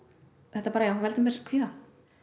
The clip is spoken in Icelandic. þetta veldur mér kvíða